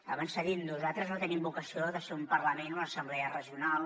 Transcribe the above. abans s’ha dit nosaltres no tenim vocació de ser un parlament o una assemblea regional